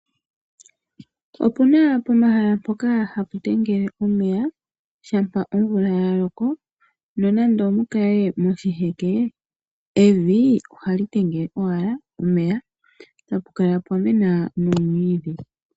Opuna pomahala mpoka hapu tangele omeya shampa omvula ya loko, nonande omukale moshiheke, evi ohali tengele owala omeya, tapu kala pwamena nomwiidhi.